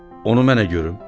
Onu mənə görüm?